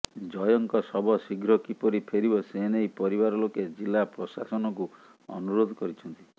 ଜୟଙ୍କ ଶବ ଶୀଘ୍ର କିପରି ଫେରିବ ସେ ନେଇ ପରିବାର ଲୋକେ ଜିଲ୍ଲା ପ୍ରଶାସନକୁ ଅନୁରୋଧ କରିଛନ୍ତି